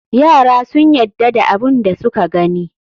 Yara sun yadda da abun da suka gani.